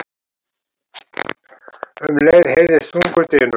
Um leið heyrðist þungur dynur.